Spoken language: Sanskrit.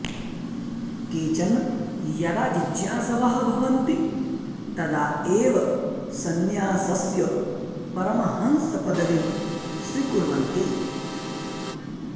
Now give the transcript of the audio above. केचन यदा जिज्ञासवः भवन्ति तदा एव संन्यासस्य परमहंसपदविं स्वीकुर्वन्ति